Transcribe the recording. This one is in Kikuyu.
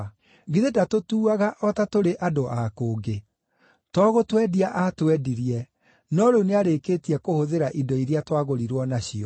Githĩ ndatũtuaga o ta tũrĩ andũ a kũngĩ? To gũtwendia aatwendirie, no rĩu nĩarĩkĩtie kũhũthĩra indo iria twagũrirwo nacio.